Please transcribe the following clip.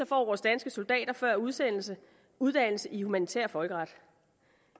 får vores danske soldater før udsendelse uddannelse i humanitær folkeret